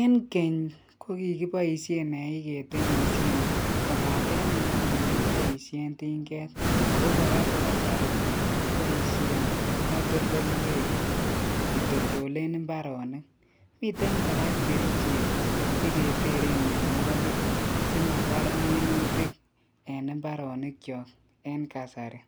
Eng keny kokikipoishen nae ketemishien kobate eng nguni kepoishen tinget ako kora ko kasari kopoishen katoltolweik kitoldole imbaarenik, miten kora kerichek cheketeren mianwokik si mabaar minutik en imbaronikcho eng kasari